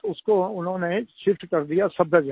उसको उन्होंने शिफ्ट कर दिया सफदरजंग